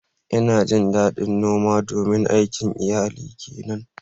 Ina jin ɗaɗin noma domin aikin iyalina ke nan.